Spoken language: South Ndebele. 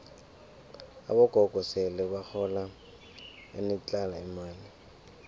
abogogo sele bahola enetlha imali